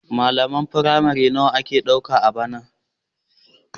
Malaman firamare nawa aka ɗauka a bana?